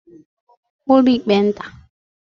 ụlọịkpe nta